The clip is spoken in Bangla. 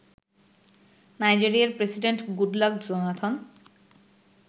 নাইজেরিয়ার প্রেসিডেন্ট গুডলাক জোনাথন